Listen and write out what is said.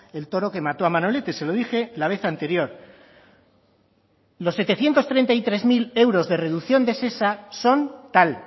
el toro que mató a manolete se lo dije la vez anterior los setecientos treinta y tres mil euros de reducción de shesa son tal